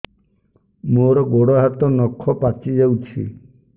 ମୋର ଗୋଡ଼ ହାତ ନଖ ପାଚି ଯାଉଛି